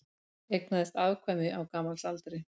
Eignaðist afkvæmi á gamalsaldri